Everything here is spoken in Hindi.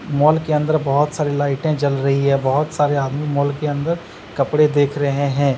मॉल के अंदर बहुत सारी लाइटें जल रही है बहुत सारे आदमी मॉल के अंदर कपड़े देख रहे हैं।